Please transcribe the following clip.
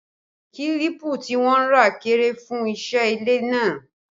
Kílípù tí wọ́n rà kéré fún iṣẹ́ ilé náà